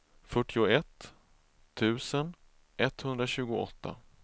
fyrtioett tusen etthundratjugoåtta